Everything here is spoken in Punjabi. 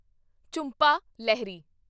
ਝੁੰਪਾ ਲਹਿਰੀ